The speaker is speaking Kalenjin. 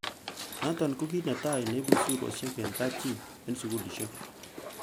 Noton ko kit netai neibu suriosiek en kapchii en sugulisiek.